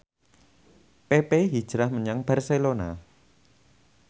pepe hijrah menyang Barcelona